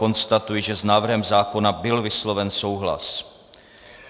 Konstatuji, že s návrhem zákona byl vysloven souhlas.